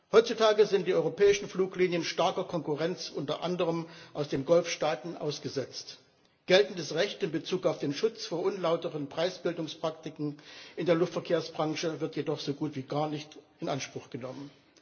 Heutzutage sind die europäischen Fluglinien starker Konkurrenz, unter anderem aus den Golfstaaten, ausgesetzt. Geltendes Recht in Bezug auf den Schutz vor unlauteren Preisbildungspraktiken in der Luftverkehrsbranche wird jedoch so gut wie gar nicht in Anspruch genommen.